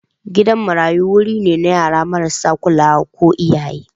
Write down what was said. Gidan marayu wuri ne na yara marasa kulawa ko iyaye.